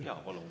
Jaa, palun!